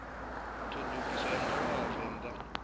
ḓiṱongisa nga u vha vhavenḓa